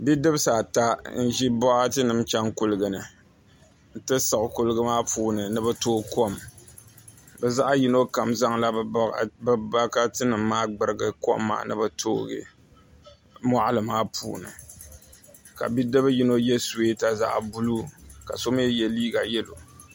Bidibsi ata n ʒi boɣati nim chɛŋ kuligi ni n ti siɣu kuligi maa puuni ni bi tooi kom bi zaɣ yino kam zaŋla bi bokati nim maa gburigi kom maa ni bi tooigi moɣali maa puuni ka bidib yino yɛ suyeeta zaɣ buluu ka so mii yɛ liiga yɛlo